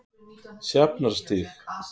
Sjafnarstíg